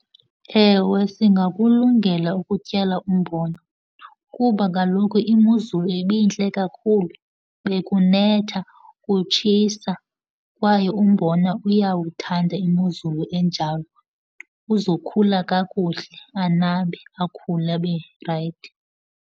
Ewe, singakulungela ukutyala umbona kuba kaloku imozulu ibintle kakhulu. Bekunetha, kutshisa, kwaye umbona uyawuthanda imozulu enjalo. Uzokhula kakuhle, anabe, akhule abe rayithi.